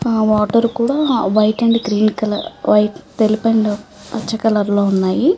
ఆ వాటర్ కూడా white and green colour white తెలుపు అండ్ పచ్చ కలర్ లో ఉన్నాయి.